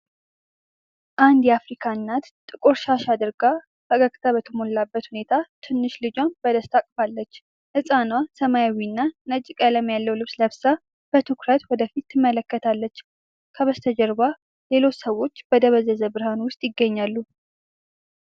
አንድ የአፍሪካ እናት ጥቁር ሻሽ አድርጋ ፈገግታ በተሞላበት ሁኔታ ትንሽ ልጇን በደስታ አቅፋለች። ህፃኗ ሰማያዊና ነጭ ቀለም ያለው ልብስ ለብሳ፣ በትኩረት ወደ ፊት ትመለከታለች። ከበስተጀርባ ሌሎች ሰዎች በደበዘዘ ብርሃን ውስጥ ይገኛሉ።